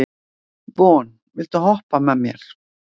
Von, viltu hoppa með mér?